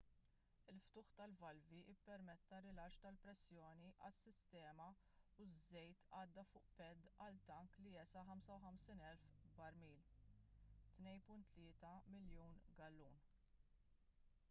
il-ftuħ tal-valvi ppermetta rilaxx tal-pressjoni għas-sistema u ż-żejt għadda fuq pad għal tank li jesa' 55,000 barmil 2.3 miljun gallun